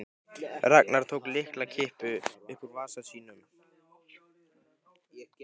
Ragnar tók lyklakippu upp úr vasa sínum.